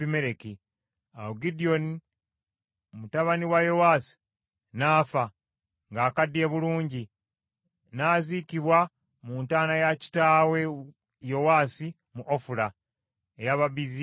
Awo Gidyoni mutabani wa Yowaasi n’afa, ng’akaddiye bulungi, n’aziikibwa mu ntaana ya kitaawe Yowaasi mu Ofula eky’Ababiezeri.